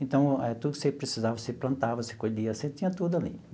Então, tudo que você precisava, você plantava, você colhia, você tinha tudo ali.